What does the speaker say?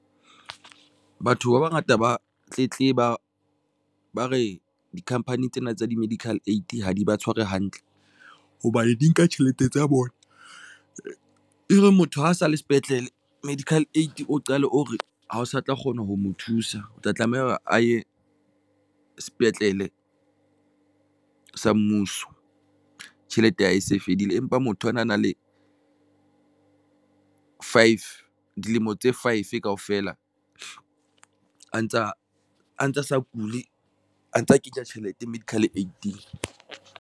Batho ba bangata ba tletleba ba re di-company tsena tsa di-medical aid ha di ba tshware hantle hobane di nka tjhelete tsa bona e be motho ha sa le sepetlele medical aid o qale o re ha o sa tla kgona ho mo thusa, o tla tlameha a ye sepetlele sa mmuso. Tjhelete ya hae e se fedile, empa motho a na a na le five dilemo tse five kaofela, a ntsa a ntsa sa kuli, a ntsa kenya tjhelete medical aid-eng.